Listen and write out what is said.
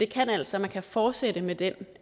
kan altså fortsætte med den